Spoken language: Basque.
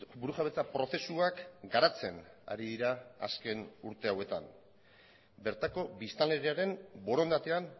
burujabetza prozesuak garatzen ari dira azken urte hauetan bertako biztanleriaren borondatean